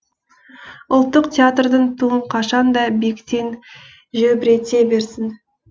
ұлттық театрдың туын қашан да биіктен желбірете берсін